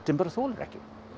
bara þolir ekki